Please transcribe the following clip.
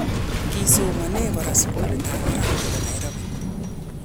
Kii somane kora, sugulit ab barak nebo Nairobi